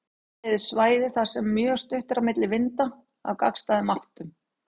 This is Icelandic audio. Sömuleiðis svæði þar sem mjög stutt er á milli vinda af gagnstæðum áttum.